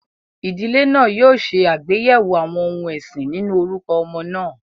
Ìdílé náà yóò ṣe àgbéyẹ̀wò àwọn ohun ẹ̀sìn nínú orúkọ ọmọ náà.